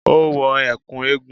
Ó wọ ẹ̀kú eégún